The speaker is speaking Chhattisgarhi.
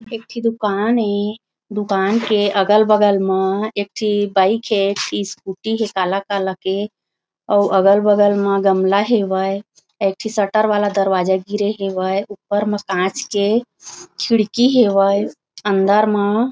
एक ठे दुकान हे दुकान के अगल-बगल म एक ठी बाइक हे स्कूटी हे काला-काला के अउ अगल-बगल म गमला हवय एक ठी शटर वाला दरवाजा गिरे हवय ऊपर म काँच के खिड़की हवय अंदर म।